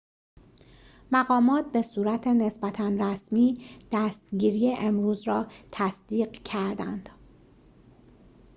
مقامات به صورت نسبتا رسمی دستگیری امروز را تصدیق کردند